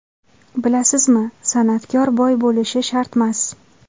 Bilasizmi, san’atkor boy bo‘lishi shartmas.